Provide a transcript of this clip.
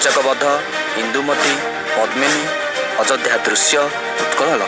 କିଚକ ବଧ ଇନ୍ଦୁମତି ପଦ୍ମିନୀ ଅଯୋଧ୍ୟା ଦୃଶ୍ୟ ଘରର --